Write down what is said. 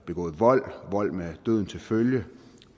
begået vold vold med døden til følge